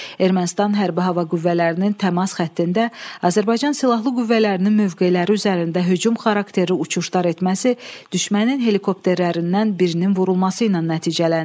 Ermənistan hərbi hava qüvvələrinin təmas xəttində Azərbaycan silahlı qüvvələrinin mövqeləri üzərində hücum xarakterli uçuşlar etməsi düşmənin helikopterlərindən birinin vurulması ilə nəticələndi.